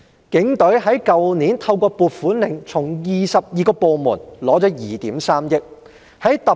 警隊去年透過"撥款令"，從22個部門獲得2億 3,000 萬元撥款。